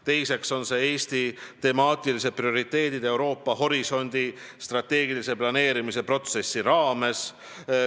Teiseks on seal kõne all Eesti temaatilised prioriteedid "Euroopa horisondi" strateegilise planeerimise protsessi raames.